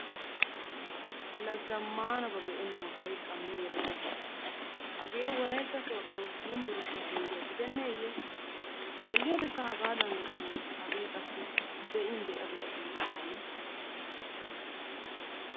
La zammaanaba be'ennan sa'i qammi erenna biittaa. Hagee wolaytta sooddo yunburshiya penggiya gidenneeyye xeelliyodekka hagaadan lo'iiyye hagee qassi be'in be'a be'a giidi waanii.